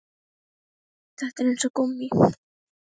Þetta er eins og gúmmí